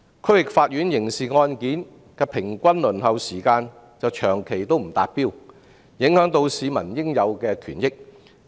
區域法院刑事案件的平均輪候時間長期不達標，影響市民應有的權益。